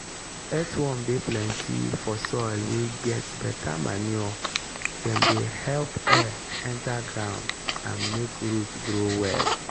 earthworm dey plenty for soil wey get better manure dem dey help air enter ground and make root grow well.